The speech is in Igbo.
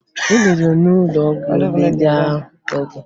Ị ruo n'ụlọọgwụ ị lelee ahụ gị!